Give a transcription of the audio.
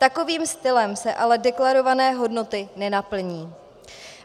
Takovým stylem se ale deklarované hodnoty nenaplní.